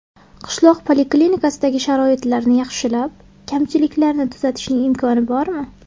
Qishloq poliklinikasidagi sharoitlarni yaxshilab, kamchiliklarni tuzatishning imkoni bormi?